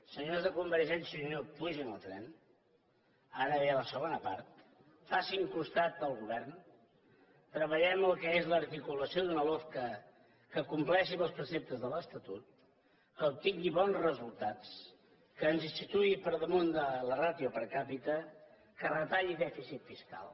senyors de convergència i unió pugin al tren ara ve la segona part facin costat al govern treballem el que és l’articulació d’una lofca que compleixi amb els preceptes de l’estatut que obtingui bons resultats que ens situï per damunt de la ràtio per capita que retalli dèficit fiscal